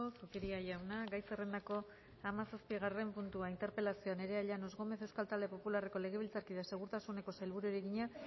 zupiria jauna gai zerrendako hamazazpigarren puntua interpelazioa nerea llanos gómez euskal talde popularreko legebiltzarkideak segurtasuneko sailburuari egina